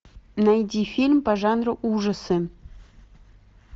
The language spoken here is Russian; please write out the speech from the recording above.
найди фильм по жанру ужасы